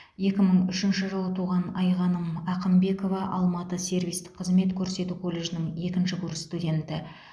екі мың үшінші жылы туған айғаным ақымбекова алматы сервистік қызмет көрсету колледжінің екінші курс студенті